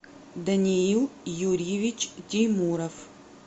даниил юрьевич тимуров